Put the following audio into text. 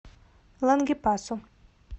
лангепасу